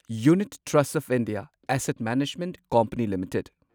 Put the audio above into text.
unit trust of India asset management company limited